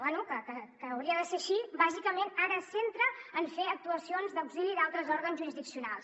bé que hauria de ser així bàsicament ara es centra en fer actuacions d’auxili d’altres òrgans jurisdiccionals